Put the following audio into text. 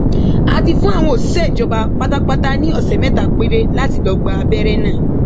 a ti fún àwọn òṣìṣẹ ìjọba pátápátá ní ọsẹ mẹta péré láti lọọ gba abẹrẹ náà